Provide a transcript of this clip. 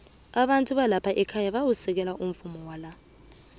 abantu balapha ekhaya bayawusekela umvumo wala